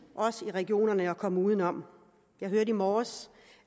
også i regionerne at komme uden om jeg hørte i morges